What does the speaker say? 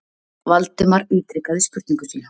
Valdimar ítrekaði spurningu sína.